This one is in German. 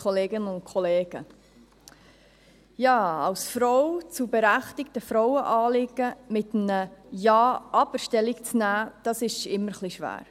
Ja, als Frau zu berechtigten Frauenanliegen mit einem «Ja, aber» Stellung zu nehmen, ist immer ein bisschen schwierig.